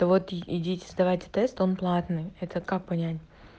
да вот и идите сдавайте тест он платный это как понять